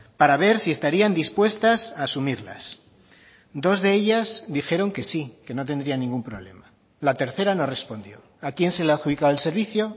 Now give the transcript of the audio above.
para ver si estarían dispuestas a asumirlas dos de ellas dijeron que sí que no tendría ningún problema la tercera no respondió a quién se le ha adjudicado el servicio